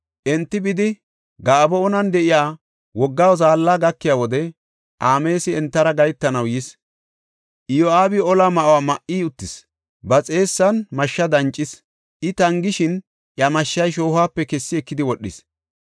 Enti bidi Gaba7oonan de7iya wogga zaalla gakiya wode Amaasi entara gahetanaw yis. Iyo7aabi ola ma7uwa ma7i uttis; ba xeessan mashsha dancis. I tangishin iya mashshay shoohuwape kessi ekidi wodhis.